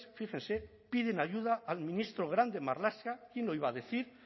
fíjese piden ayuda al ministro grande marlaska quién lo iba a decir